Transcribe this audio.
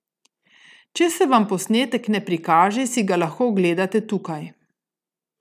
Če se vam posnetek ne prikaže, si ga lahko ogledate tukaj.